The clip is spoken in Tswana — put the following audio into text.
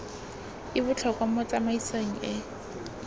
e botlhokwa mo tsamaisong e